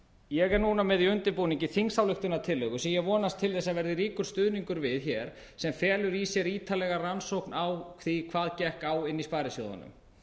ég er núna með í undirbúningi þingsályktunartillögu sem ég vonast til þess að verði ríkur stuðningur við hér sem felur í sér ítarlega rannsókn á því hvað gekk á inni í sparisjóðunum